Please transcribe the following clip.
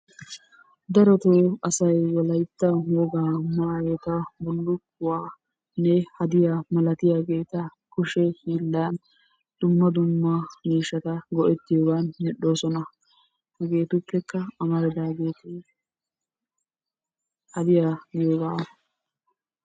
Darotto asay wolayttan wogaa maayotta bullukkuwaanne haddiyaa milattiyaagetta kushshe hiilan dumma dumma miishatta go'ettiyoogan medhdhosona. Hegettupekka amaridaagetti hadiyaa goyooga.